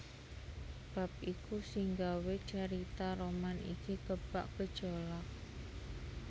Bab iku sing gawé carita roman iki kebak gejolak